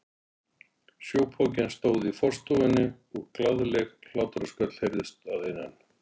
Sjópokinn stóð í forstofunni og glaðleg hlátrasköll heyrðust að innan.